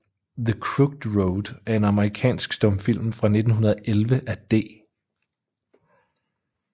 The Crooked Road er en amerikansk stumfilm fra 1911 af D